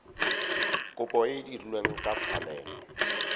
kopo e dirilwe ka tshwanelo